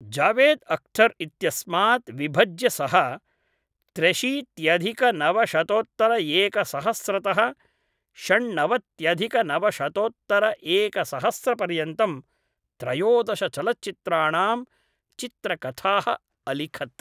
जावेद् अख्थर् इत्यस्मात् विभज्य सः, त्र्यशीत्यधिकनवशतोत्तरएकसहस्रतः षण्णवत्यधिकनवशतोत्तरएकसहस्रपर्यन्तं त्रयोदशचलच्चित्राणां चित्रकथाः अलिखत्।